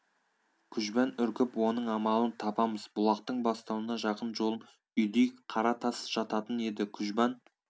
күжбан үркіп оның амалын табамыз бұлақтың бастауына жақын жолым үйдей қара тас жататын еді күжбан